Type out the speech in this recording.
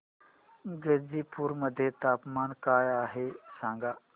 गाझीपुर मध्ये तापमान काय आहे सांगा